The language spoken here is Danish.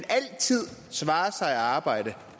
svare sig at arbejde